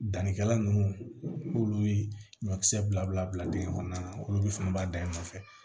Danni kɛla ninnu n'olu ye ɲɔkisɛ bila bila dingɛ kɔnɔna na olu fana b'a da i nɔfɛ